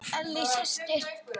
Ellý systir.